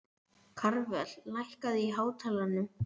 Karvel, lækkaðu í hátalaranum.